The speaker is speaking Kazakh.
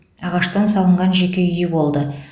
ағаштан салынған жеке үйі болды